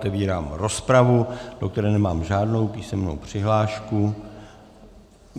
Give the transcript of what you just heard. Otevírám rozpravu, do které nemám žádnou písemnou přihlášku.